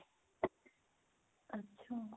ਅੱਛਾ